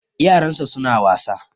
Yaran sa suna wasa